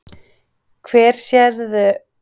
Hvar sérðu þig fitta inn í liðið, hefurðu hugsað það?